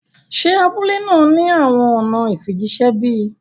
Ṣé abúlẹ̀ náà ni awọn ọ̀nà ìfíjìṣẹ̀ bí?